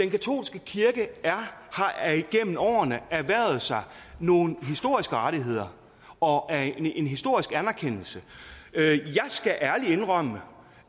katolske kirke har igennem årene erhvervet sig nogle historiske rettigheder og en historisk anerkendelse jeg skal ærligt indrømme